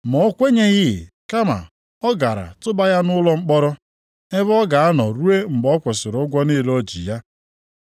“Ma o kwenyeghị, kama ọ gara tụba ya nʼụlọ mkpọrọ, ebe ọ ga-anọ ruo mgbe ọ kwụsịrị ụgwọ niile o ji ya.